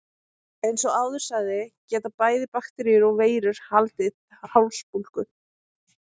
Eins og áður sagði geta bæði bakteríur og veirur valdið hálsbólgu.